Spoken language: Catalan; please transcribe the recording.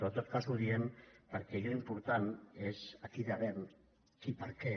però en tot cas ho diem perquè allò important és a qui devem i per què